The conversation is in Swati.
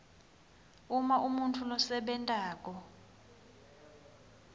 uma umuntfu losebentako